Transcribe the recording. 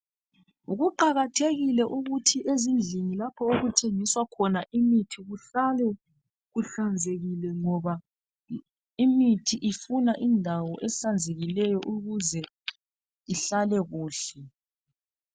Kuqakathekile ukuthi ezindlini lapho okuthengiswa khona imithi kuhlale kuhlanzekile ngoba imithi ifuna indawo ehlanzekileyo ukuze ihlale kuhle